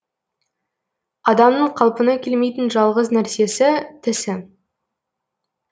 адамның қалпына келмейтін жалғыз нәрсесі тісі